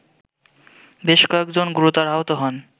বেশকয়েকজন গুরুতর আহত হন